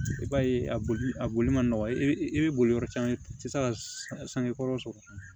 I b'a ye a boli a boli ma nɔgɔn i bɛ boli yɔrɔ caman i tɛ se ka sange kɔrɔ sɔrɔ